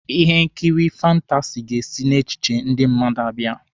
Ihe nkiri fantasi ga-esi n'echiche ndị mmadụ abịa.